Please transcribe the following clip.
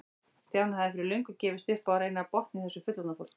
Stjáni hafði fyrir löngu gefist upp á að reyna að botna í þessu fullorðna fólki.